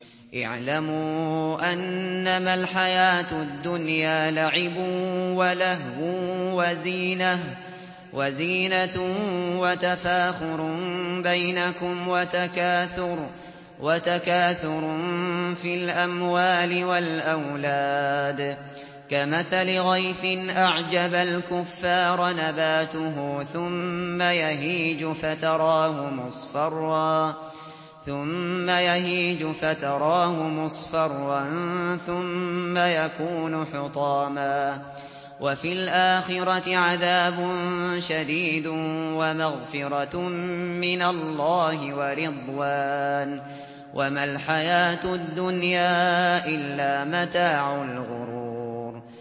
اعْلَمُوا أَنَّمَا الْحَيَاةُ الدُّنْيَا لَعِبٌ وَلَهْوٌ وَزِينَةٌ وَتَفَاخُرٌ بَيْنَكُمْ وَتَكَاثُرٌ فِي الْأَمْوَالِ وَالْأَوْلَادِ ۖ كَمَثَلِ غَيْثٍ أَعْجَبَ الْكُفَّارَ نَبَاتُهُ ثُمَّ يَهِيجُ فَتَرَاهُ مُصْفَرًّا ثُمَّ يَكُونُ حُطَامًا ۖ وَفِي الْآخِرَةِ عَذَابٌ شَدِيدٌ وَمَغْفِرَةٌ مِّنَ اللَّهِ وَرِضْوَانٌ ۚ وَمَا الْحَيَاةُ الدُّنْيَا إِلَّا مَتَاعُ الْغُرُورِ